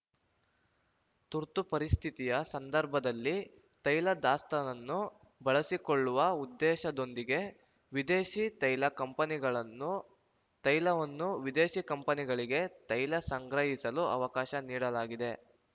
ತುರ್ತು ಪರಿಸ್ಥಿತಿಯ ಸಂದರ್ಭದಲ್ಲಿ ತೈಲ ದಾಸ್ತಾನನ್ನು ಬಳಸಿಕೊಳ್ಳುವ ಉದ್ದೇಶದೊಂದಿಗೆ ವಿದೇಶಿ ತೈಲ ಕಂಪನಿಗಳನ್ನು ತೈಲವನ್ನು ವಿದೇಶಿ ಕಂಪನಿಗಳಿಗೆ ತೈಲ ಸಂಗ್ರಹಿಸಲು ಅವಕಾಶ ನೀಡಲಾಗಿದೆ